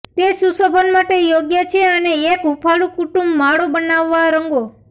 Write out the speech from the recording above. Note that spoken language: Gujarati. તે સુશોભન માટે યોગ્ય છે અને એક હૂંફાળું કુટુંબ માળો બનાવવા રંગો